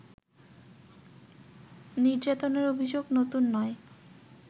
নির্যাতনের অভিযোগ নতুন নয়